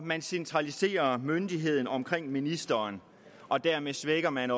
man centraliserer myndigheden omkring ministeren og dermed svækker man